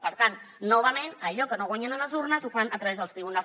per tant novament allò que no guanyen a les urnes ho fan a través dels tribunals